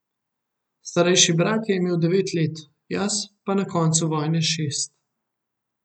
Starejši brat je imel devet let, jaz pa na koncu vojne šest.